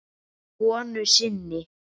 konu sinni.